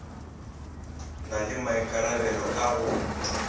na le maikarabelo a go